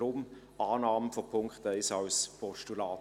Daher: Annahme des Punkts 1 als Postulat.